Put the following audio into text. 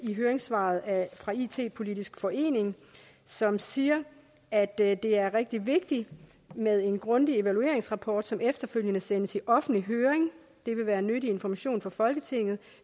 ved høringssvaret fra it politisk forening som siger at det er det er rigtig vigtigt med en grundig evalueringsrapport som efterfølgende sendes i offentlig høring det vil være nyttig information for folketinget